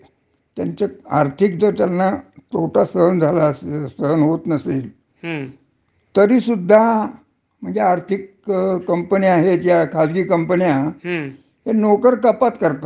ह्या नोकर कपात करतात. हं. नोकर कपात करतात, किवा तुम्ही काही वेळा संपावर गेलात, हं. तरी तुम्हाला तुम्ही टाळे बंदी केली. हं.